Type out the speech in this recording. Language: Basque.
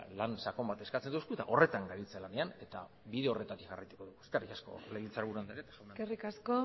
lan sakon bat eskatzen digu eta horretan gabiltza lanean eta bide horretatik jarraituko dugu eskerrik asko legebiltzarburu andrea eskerrik asko